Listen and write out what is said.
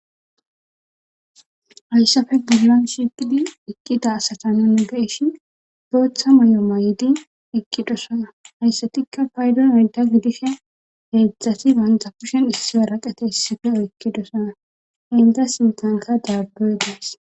Hayssafe gillon shiqidi iqqita asata nun geishin booththa moy'o may'di iqqidosana hayssatikka paydo meda gidishe heedzdzati bantapushen issie raqete issife oykkidosana inta sintanka daabboy daas.